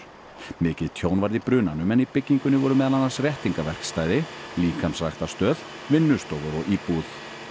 mikið tjón varð í brunanum en í byggingunni voru meðal annars réttingaverkstæði líkamsræktarstöð vinnustofur og íbúð